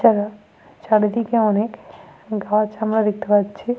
এছাড়া চারিদিকে অনেক গাছ আমরা দেখতে পাচ্ছি।